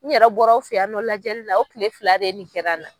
N yɛrɛ bɔra aw fɛ yan nɔ lajɛlila o kile fila de nin kɛra n na.